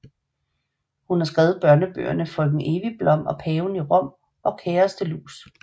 Hun har skrevet børnebøgerne Frøken Evigblom og paven i Rom og Kærestelus